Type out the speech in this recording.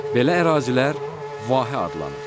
Belə ərazilər vahə adlanır.